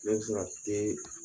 I b'a sɔrɔ a tɛ